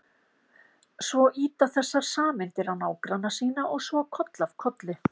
Svo ýta þessar sameindir á nágranna sína og svo koll af kolli.